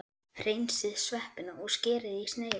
Hreinsið sveppina og skerið í sneiðar.